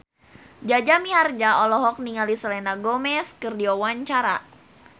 Jaja Mihardja olohok ningali Selena Gomez keur diwawancara